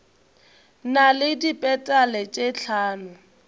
na le dipetale tše hlano